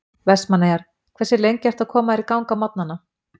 Vestmanneyjar Hversu lengi ertu að koma þér í gang á morgnanna?